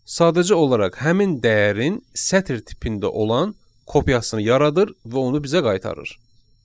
Sadəcə olaraq həmin dəyərin sətr tipində olan kopyasını yaradır və onu bizə qaytarır.